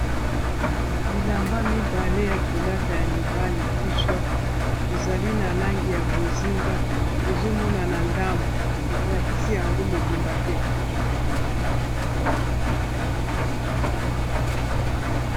Bilamba mibale ya kolata ya mibale t shot ezali na langi ya bozinga ezo monana ndambu balakisi yango mobimba te.